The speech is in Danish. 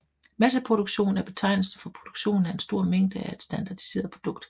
Masseproduktion er betegnelsen for produktionen af en stor mængde af et standardiseret produkt